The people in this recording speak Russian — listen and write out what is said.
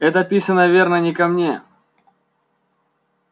это писано верно не ко мне